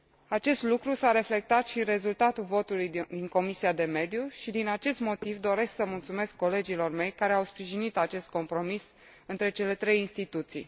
Acest lucru s a reflectat și în rezultatul votului din Comisia pentru mediu și din acest motiv doresc să mulțumesc colegilor mei care au sprijinit acest compromis între cele trei instituții.